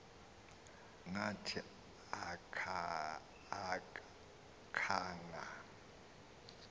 ngathi aka khanga